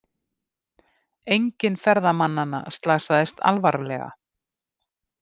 Enginn ferðamannanna slasaðist alvarlega